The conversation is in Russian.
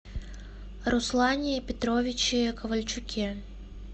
руслане петровиче ковальчуке